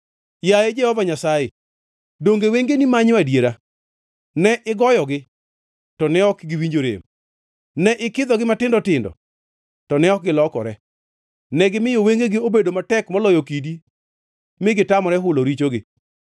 Yaye Jehova Nyasaye, donge wengeni manyo adiera? Ne igoyogi, to ne ok giwinjo rem; ne ikidhogi matindo tindo, to ne ok gilokore. Negimiyo wengegi obedo matek moloyo kidi mi gitamore hulo richogi.